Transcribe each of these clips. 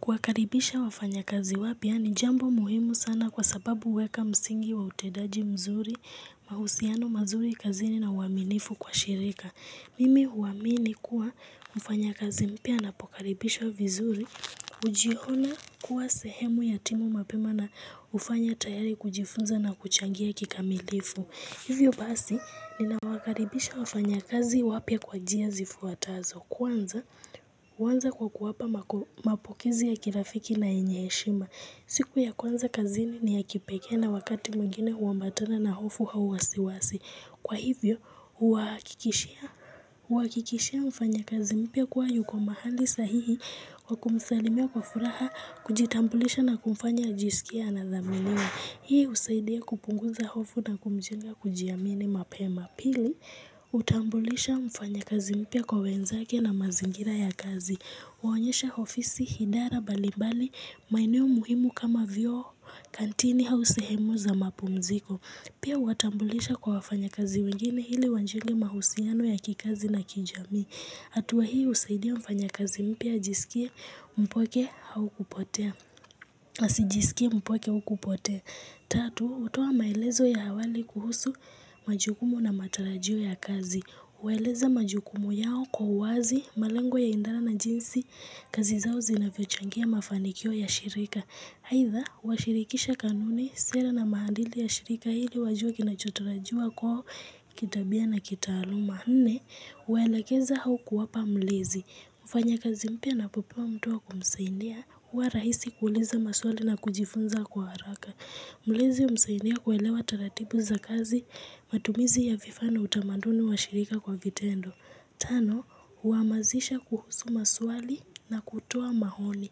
Kuwakaribisha wafanyakazi wapya ni jambo muhimu sana kwa sababu huweka msingi wa utendaji mzuri, mahusiano mazuri kazini na uaminifu kwa shirika. Mimi huamini kuwa mfanyakazi mpya anapokaribishwa vizuri hujiona kuwa sehemu ya timu mapema na hufanya tayari kujifunza na kuchangia kikamilifu. Hivyo basi, ninawakaribisha wafanyakazi wapya kwa njia zifuatazo. Kwanza, huanza kwa kuwapa mapokezi ya kirafiki na yenye heshima. Siku ya kwanza kazini ni ya kipekee na wakati mwingine huambatana na hofu au wasiwasi. Kwa hivyo, huhakikishia mfanyakazi mpya kua yuko mahali sahihi kwa kumsalimia kwa furaha kujitambulisha na kumfanya ajisikie anadhaminiwa. Hii husaidia kupunguza hofu na kumjenga kujiamini mapema. Pili, hutambulisha mfanyakazi mpya kwa wenzake na mazingira ya kazi. Huonyesha ofisi, idara mbali mbali, maeneo muhimu kama vyoo, kantini au sehemu za mapumziko. Pia huwatambulisha kwa wafanyakazi wengine ili wajenge mahusiano ya kikazi na kijamii hatuwa hii husaidia mfanyakazi mpya ajisikie mpweke au kupotea. Asijisikie mpweke au kupotea. Tatu, hutoa maelezo ya awali kuhusu majukumu na matarajio ya kazi. Hueleza majukumu yao kwa uwazi, malengo ya idara na jinsi kazi zinavyochangia mafanikio ya shirika aitha, huwashirikisha kanuni, sera na maadili ya shirika ili wajue kinachotarajiwa kwao kitabia na kitaaluma. Nne, huwaelekeza au kuwapa mlezi, hufanya kazi mpya anapopewa mtu wa kumsaidia, huwa rahisi kuuliza maswali na kujifunza kwa haraka. Maelezo humsaidia kuelewa taratibu za kazi, matumizi ya vifaa na utamaduni wa shirika kwa vitendo. Tano, huhamasisha kuhusu maswali na kutoa maoni.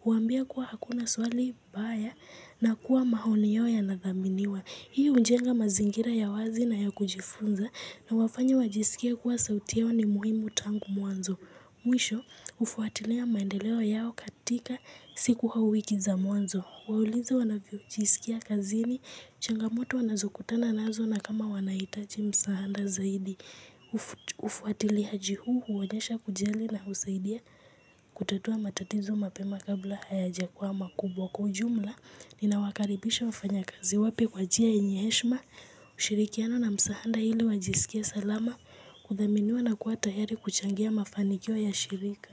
Huambia kuwa hakuna swali baya na kuwa maoni yao yanadhaminiwa. Hii hujenga mazingira ya wazi na ya kujifunza na huwafanya wajisikie kuwa sauti yao ni muhimu tangu mwanzo. Mwisho, hufuatilia maendeleo yao katika siku au wiki za mwanzo. Huwauliza wanavyojisikia kazini, changamoto wanazokutana nazo na kama wanahitaji msaada zaidi. Ufuatiliaji huu huonyesha kujali na husaidia kutatua matatizo mapema kabla hayajakuwa makubwa. Kwa ujumla, ninawakaribisha wafanyakazi wapya kwa njia yenye heshima, ushirikiano na msaanda ili wajisikie salama. Kudhaminiwa na kuwa tayari kuchangia mafanikio ya shirika.